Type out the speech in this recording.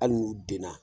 Hali n'u denna